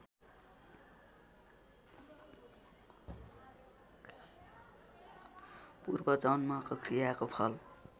पूर्वजन्मको क्रियाको फल